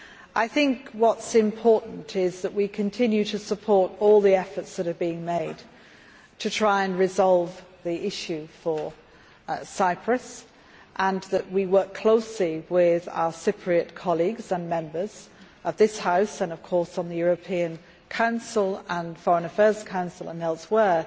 I think what is important is that we continue to support all the efforts that are being made to try to resolve the issue for Cyprus, and that we work closely with our Cypriot colleagues and Members of this House and in the European Council and Foreign Affairs Council and elsewhere